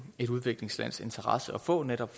et udviklingslands interesse for netop